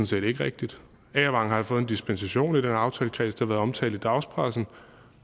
set ikke rigtigt agervang har fået en dispensation af den her aftalekreds det har været omtalt i dagspressen